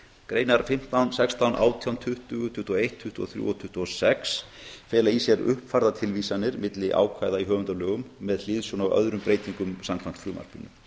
greinar fimmtán sextán átján tuttugu tuttugu og eitt tuttugu og þrjú og tuttugu og sex fela í sér uppfærðar tilvísanir milli ákvæða í höfundalögum með hliðsjón af öðrum breytingum samkvæmt frumvarpinu í